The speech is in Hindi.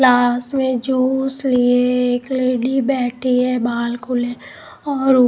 क्लास में जूस लिए एक लेडी बैठी है बाल खुले और--